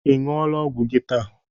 Ị ṅụgo ọgwụ gi taa?